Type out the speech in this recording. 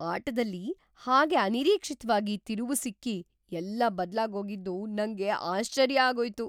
ಆಟದಲ್ಲಿ ಹಾಗೆ ಅನಿರೀಕ್ಷಿತ್ವಾಗಿ ತಿರುವು ಸಿಕ್ಕಿ ಎಲ್ಲ ಬದ್ಲಾಗೋಗಿದ್ದು ನಂಗೆ ಆಶ್ಚರ್ಯ ಆಗೋಯ್ತು.